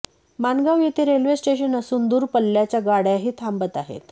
माणगांव येथे railway station असून दूर पल्ल्याच्या गाडय़ाही थांबत आहेत